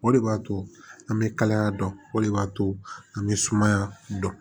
O de b'a to an bɛ kalaya dɔn o de b'a to an bɛ sumaya dɔn